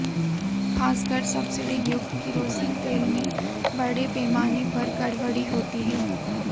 खासकर सब्सिडी युक्त केरोसिन तेल में बड़े पैमाने पर गड़बड़ी होती है